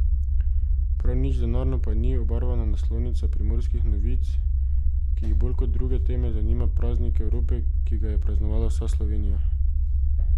Prav nič denarno pa ni obarvana naslovnica Primorskih novic, ki jo bolj kot druge teme zanima praznik Evrope, ki ga je praznovala vsa Slovenija.